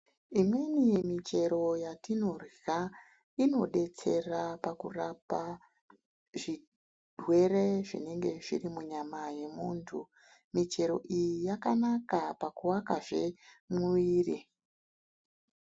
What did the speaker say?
Imweni michero yatinorya inobetsera pakurapa zvirwere zvinenge zviri munyama yemuntu. Michero iyi yakanaka pakuvakazve muviri.